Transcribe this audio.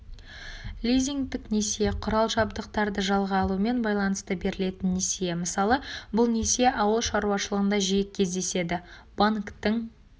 лизингтік несие құрал-жабдықтарды жалға алумен байланысты берілетін несие мысалы бұл несие ауыл шаруашылығында жиі кездеседі банктің